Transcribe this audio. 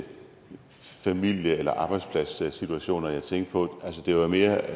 familie eller arbejdspladssituationer jeg tænkte på det var mere